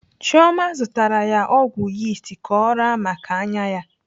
Chioma zụtara ya ọgwụ yist ka ọ raa maka anya ya.